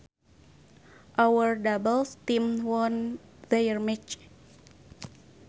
Our doubles team won their match